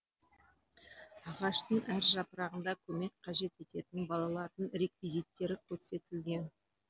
ағаштың әр жапырағында көмек қажет ететін балалардың реквизиттері көрсетілген